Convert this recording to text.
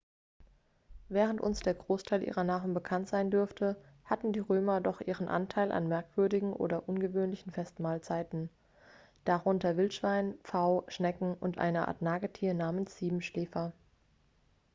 während uns der großteil ihrer nahrung bekannt sein dürfte hatten die römer doch ihren anteil an merkwürdigen oder ungewöhnlichen festmahlzeiten darunter wildschwein pfau schnecken und eine art nagetier namens siebenschläfer